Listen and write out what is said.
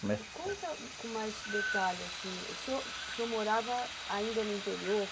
Conta com mais detalhe, assim, o senhor senhor morava ainda no interior?